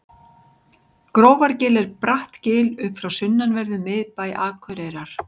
grófargil er bratt gil upp frá sunnanverðum miðbæ akureyrar